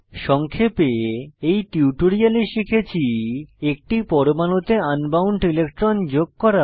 সংক্ষেপে এই টিউটোরিয়ালে শিখেছি একটি পরমাণুতে আন বাউন্ড ইলেকট্রন যোগ করা